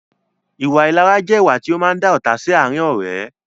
Ìwà ìlara jẹ ìwà to máa ń dá ọ́ta sì àárín ọ̀rẹ́